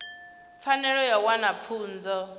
pfanelo ya u wana pfunzo